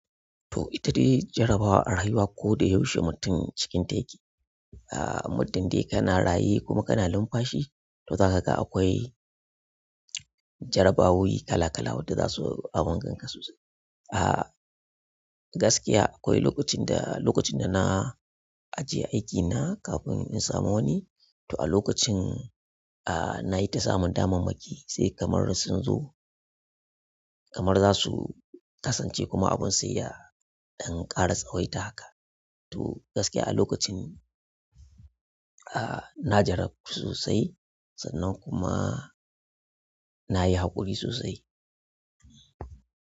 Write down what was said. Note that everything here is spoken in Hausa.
To ita dai jarabawa arayuwa ko da yaushe mutum cikin ta yake. Ah, muddin dai kana raye kuma kana lumfashi to za ka ga akwai jarabawowi kala kala wanda za su abun ganka sosai. Ah, gaskiya akwai lokacin da, lokacin da na ajiye aikina kafin in samu wani, to a lokacin, ah, na yi ta samun damammaki sai kamar sun zo kamar za su kasance kuma abun sayya dan ƙara tsawaita haka. To gaskiya a lokacin, ah, na jarabtu sosai sannan kuma na yi haƙuri sosai.